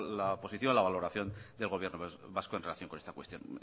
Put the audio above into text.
la posición la valoración del gobierno vasco en relación con esta cuestión